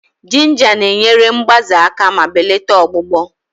Jinja na-enyere mgbaze aka ma belata ọgbụgbọ